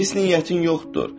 Pis niyyətin yoxdur.